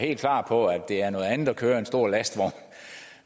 helt klar over at det er noget andet at køre en stor lastvogn